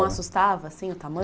Não assustava, assim, o tamanho?